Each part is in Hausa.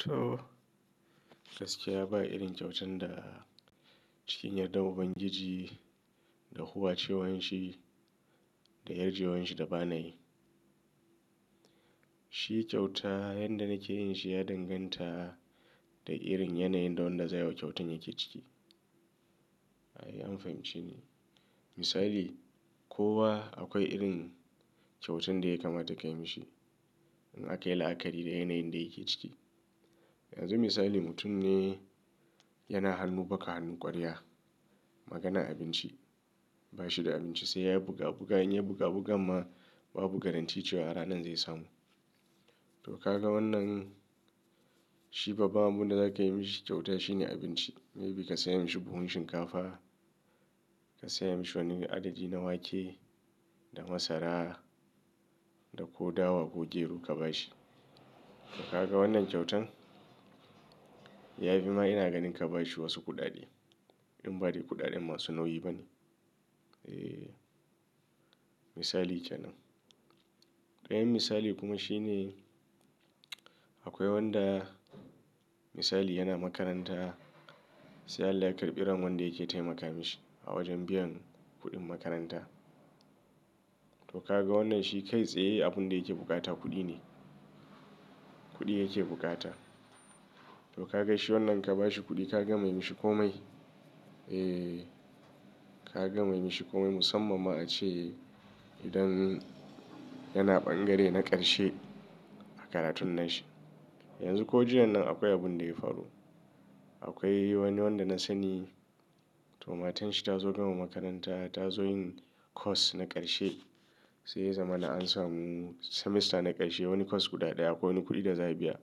To, gaskiya ba irin kyautan da cikin yarda ubangiji da huwacewan shi da yarjewan shi da ba na yi. Shi kyauta yanda nake yin shi ya danganta da irin yanayin da wanda za a yi wa kyautan yake ciki. Ayi an fahimci ne. Misali, kowa akwai irin kyautan da ya kama takai mashi. In aka yi la'akari da yanayin da yake ciki. Yanzu misali mutum ne yana hannu baka hannu kwarya. Magana abinci ba shi da abinci sai ya buga buga in ya buga buga amma babu garantici cewa a ranan zai samu. To ka ga wannan shi babban abunda za ka yi mashi kyauta shine abinci. Maybe ka saya masa buhun shinkafa, ka saya masa wani adadi na wake da masara da ko dawa ko gero ka ba shi. Ka ga wannan kyautan? Yafi ma ina ganin ka ba shi wasu kuɗaɗe. In ba dai kuɗaɗen masu nauyi bane. Eh misali kenan. Dayan misali kuma shine akwai wanda misali yana makaranta sai allah ya karbi ran wanda yake taimaka mashi a wajen biyan kuɗin makaranta. To ka ga wannan shi kai tsaye abunda yake bukata kuɗi ne. Kuɗi yake bukata. To ka ga she wannan ka ba shi kuɗi ka gama yi mashi komai? Eh ka gama yi mashi komai musamman ma ace idan yana ɓangare na karshe a karatun nashi. Yanzu ko jiyan nan akwai abunda ya faru. Akwai wani wanda na sani to matan shi ta zo gama makaranta ta zo yin course na karshe. Sai ya zama na an samu semester na karshe wani course guda ɗaya akwai wani kuɗi da za a biya.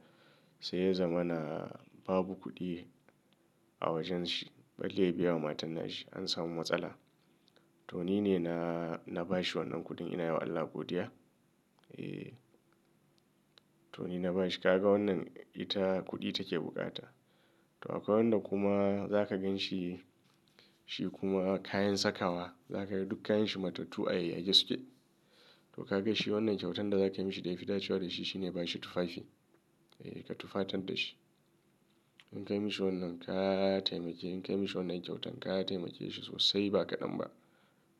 Sai ya zama na babu kuɗi a wajen shi. Ba laya biya wa matar nashi an samu matsala. To nine na, na bashi wannan kuɗin ina yi wa Allah godiya. Eh to nine na bashi ka ga wannan ita kuɗi take bukata. To akwai wanda kuma za ka ganshi shi kuma kayan sakawa za ka ga duk kayan shi matattu a yake suke. To ka gaishe wannan kyautan da za ka yi mashi da ya fi dacewa da shi shine ba shi tufafi. Eh ka tufatar da shi. In ka yi mashi wannan ka taimake. In ka yi mashi wannan kyautan ka taimake shi sosai ba kaɗan ba.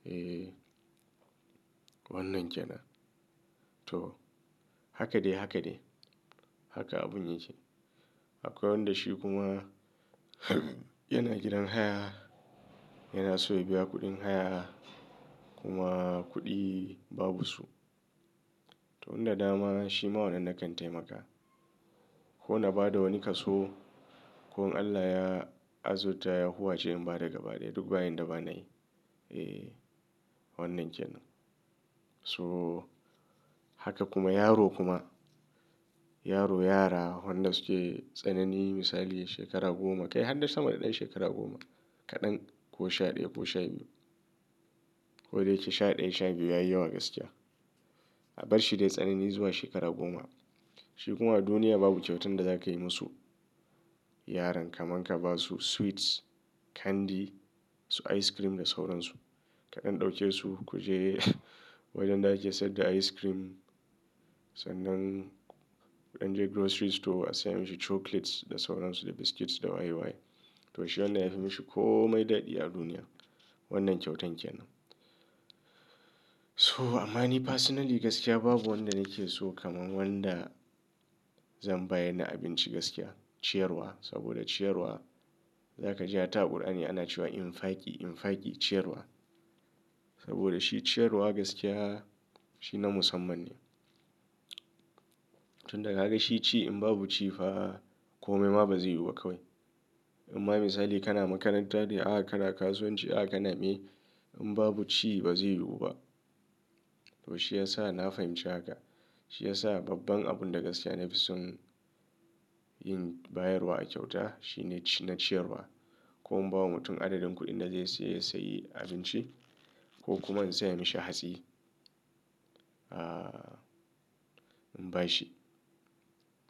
Eh wannan kenan. To haka dai haka dai. Haka abun yake. Akwai wanda shi kuma yana gidan haya. Yana so ya biya kuɗin haya kuma kuɗi babu su. To inda dama shi ma wannan na kan taimaka. Ko na ba da wani kaso ko in Allah ya azurta ya huwace in ba daga ba daya duk bayan da ba na yi. Eh wannan kenan. So haka kuma yaro kuma yaro yara wanda suke tsanani misali shekara goma kai har dai sa ma da ɗan shekara goma kaɗan ko sha ɗaya ko sha biyu. Ko dai yake sha ɗaya sha biyu yayi yawa gaskiya. A barshi dai tsanani zuwa shekara goma. Shi kuma duniya babu kyautan da za ka yi musu yaran kamar ka ba su sweets, candy su ice cream da sauransu. Kaɗan ɗauke su ku je wajen da ake sayar da ice cream. Sannan an je grocery store a saya musu chocolates da sauransu da biscuits da waye waye. To shi wannan ya fi mashi komai daɗi a duniya. Wannan kyautan kenan. So ama ni personally gaskiya babu wanda nake so kaman wanda zan bayar da abinci gaskiya. Ciyarwa saboda ciyarwa za ka ji a ta ƙur'ani ana cewa in faki in faki ciyarwa. Saboda shi ciyarwa gaskiya shi na musamman ne. Tun daga ka gaishe ci in babu ci fa komai ma bazai yiwu ba kawai. Amma misali kana makaranta dai akana kasuwanci aka namen in babu ci bazai yiwu ba. To shi ya sa na fahimci haka. Shi ya sa babban abunda gaskiya na fi son yin bayarwa a kyauta shine ci na ciyarwa. Ko in ba wa mutum adadin kuɗin da zai siya ya sayi abinci ko kuma in saya mashi hatsi. Ah in bashi.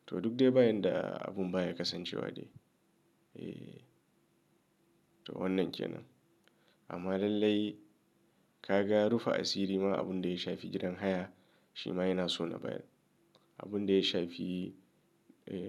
To duk dai bayan da abun baya kasancewa dai. Eh to wannan kenan. Amma lallai ka ga rufa asiri ma abunda ya shafi gidan haya shi ma yana so na bayar. Abunda ya shafi eh.